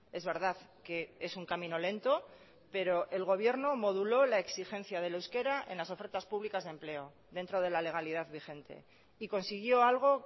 es verdad que es un camino lento pero el gobierno moduló la exigencia del euskera en las ofertas públicas de empleo dentro de la legalidad vigente y consiguió algo